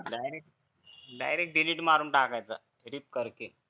direct delete मारून टाकायचा click करके